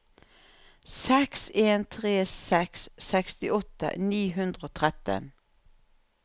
seks en tre seks sekstiåtte ni hundre og tretten